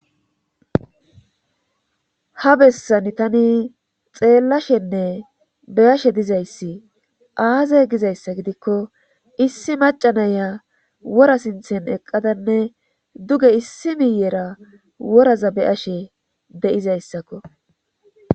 Ha bessani tani xeellashenne beyashshe dizayssi aaza gizayssa gidikko issi maca naya wora sinththen eqqadanne duge issi miyera woraza beyashshe de'izayssakko